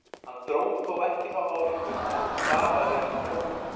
Hann dró þó ekki þá ályktun að þetta stafaði af þróun.